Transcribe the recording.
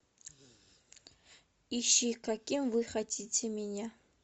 ищи каким вы хотите меня